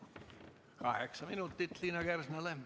Kaheksa minutit Liina Kersnale.